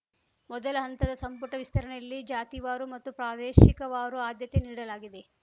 ಮೊದಲ ಹಂತದ ಸಂಪುಟ ವಿಸ್ತರಣೆಯಲ್ಲಿ ಜಾತಿವಾರು ಮತ್ತು ಪ್ರಾದೇಶಿಕವಾರು ಆದ್ಯತೆ ನೀಡಲಾಗಿದೆ